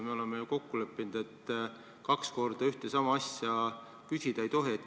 Me oleme ju kokku leppinud, et kaks korda ühte ja sama asja küsida ei tohi.